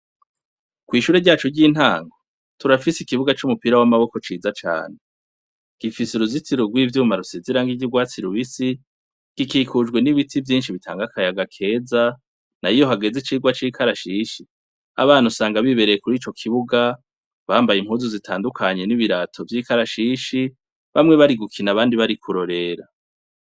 Kw'ishure ryacu ry'intanko turafise ikibuga c'umupira w'amaboko ciza cane gifise uruzitiro rw'ivyuma rusezera nk'igirwatsi lubisi gikikujwe n'ibiti vyinshi bitanga akayaga keza na iyohageze icirwa c'ikarashishi abana usanga bibereye kuri ico kibuga bambaye impuzu zitandukanye n'ibirato vy'ikarashi ishi bamwe bari gukina abandi bari kurorera.